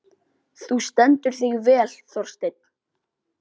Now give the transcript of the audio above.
Þú stendur þig vel, Þorsteinn!